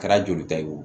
Kɛra joli ta ye o